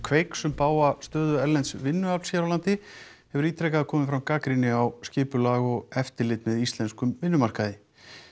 Kveiks um bága stöðu erlends vinnuafls hér á landi hefur ítrekað komið fram gagnrýni á skipulag og eftirlit með íslenskum vinnumarkaði